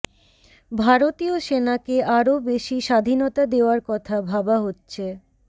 ভারতীয় সেনাকে আরও বেশি স্বাধীনতা দেওয়ার কথা ভাবা হচ্ছে